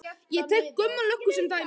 Ég tek Gumma löggu sem dæmi.